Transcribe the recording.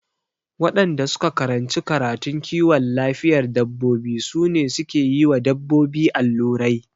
Waɗanda suka karanci karatun kiwon lafiyar dabbobi su ne suke yiwa dabbobi allurai